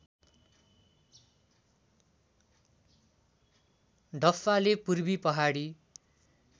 डफ्फाले पूर्वी पहाडी